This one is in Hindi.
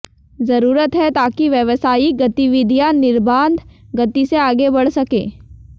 जरूरत है ताकि व्यावसायिक गतिविधियां निर्बाध गति से आगे बढ़ सकें